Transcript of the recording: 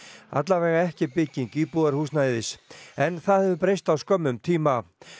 allavega ekki bygging íbúðarhúsnæðis en það hefur breyst á skömmum tíma